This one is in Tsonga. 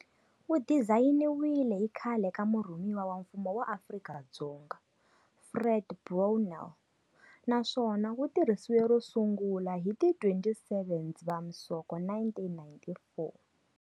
Wu dizayiniwile hi khale ka Murhumiwa wa Mfumo wa Afrika-Dzonga, Fred Brownell, naswona wu tirhisiwe ro sungula hi ti 27 Dzivamisoko 1994.